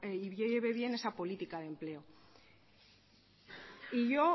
y lleve bien esa política de empleo yo